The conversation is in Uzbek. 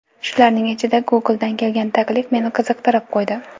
Shularning ichida Google’dan kelgan taklif meni qiziqtirib qo‘ydi.